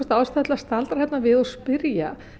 ástæða til að staldra þarna við og spyrja